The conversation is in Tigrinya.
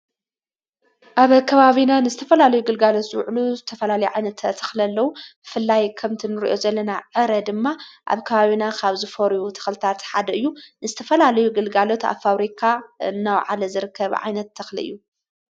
ኣብ ከባቢና ንዝተፈላልዩ ግልጋሎት ዝውዕሉ ዝተፈላሊ ዓይነት ኣተኽለለዉ ፍላይ ከምቲ ንርእዮ ዘለና ዕረ ድማ ኣብ ከባብና ኻብ ዝፈሪ ተኽልታ ተሓድ እዩ ንስተፈላለዩ ግልጋሎት ኣብ ፋውሪካ እናው ዓለ ዘርከብ ዓይነት ተኽልዩ::